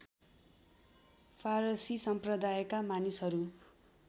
फारसी सम्प्रदायका मानिसहरू